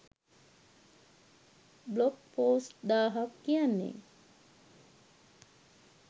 blog post දාහක් කියන්නෙ